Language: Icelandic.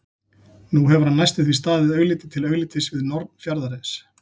Nú hefur hann næstum því staðið augliti til auglitis við norn fjarðarins.